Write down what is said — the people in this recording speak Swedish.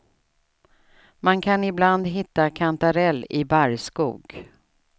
Man kan ibland hitta kantarell i barrskog.